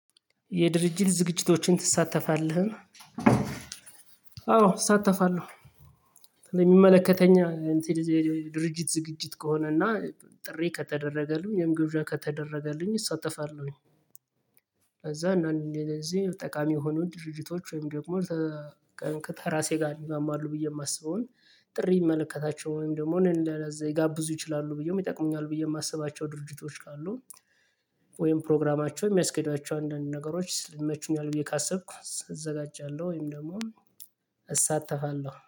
የድርጅት ዝግጅቶችን ትሳተፋለህ? አዎ እሳተፋለሁ የሚመለከተኝ ድርጅት ዝግጅት ከሆነና ጥሪ ከተደረገልኝ ወይም ግብዣ ከተደረገልኝ እሳተፋለሁኝ። ከዛ እንደዚህ ጠቃሚ የሆኑ ድርጅቶች ወይም ደግሞ ከተራሴ ጋር ይስማማሉ ብዬ የማስበውን ጥሪ ይመለከታቸው ወይም ደግሞ እኔን ለዚ ሊይጋብዙ ይችላሉ ብዬ ይጠቅሙኛል ብዬ የማስባቸው ድርጅቶች ካሉ። ወይም ፕሮግራማቸው የሚያስኬዳቸው አንዳንድ ነገሮች ይመቹኛል ብዬ ካሰብኩ እዘጋጃለሁ ወይም ደግሞ እሳተፋለሁ